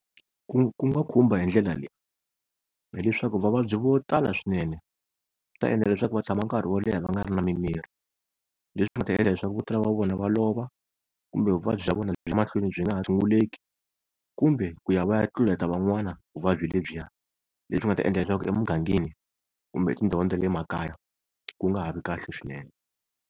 Ku, ku nga khumba hindlela leyi, phela hileswaku vavabyi vo tala swinene swi ta endla leswaku va tshama nkarhi wo leha va nga ri na mimirhi. Leswi swi nga ta endla leswaku vo tala va vona va lova, kumbe vuvabyi bya vona byi ya mahlweni byi nga ha tshunguleki, kumbe ku ya va ya tluleta van'wana vuvabyi lebyiya leswi nga ta endla leswaku emugangeni kumbe etindhawini ta le makaya ku nga ha vi kahle swinene.